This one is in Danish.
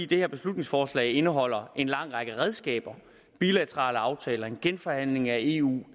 det her beslutningsforslag indeholder en lang række redskaber bilaterale aftaler en genforhandling af eu